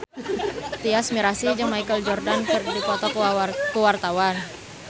Tyas Mirasih jeung Michael Jordan keur dipoto ku wartawan